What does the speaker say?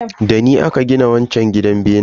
Dani aka gina wanchar gidan benen.